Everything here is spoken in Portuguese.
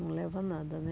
Não leva a nada, né?